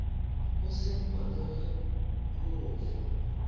go senkwa le go fa